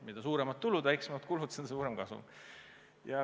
Mida suuremad tulud ja väiksemad kulud, seda suurem kasum.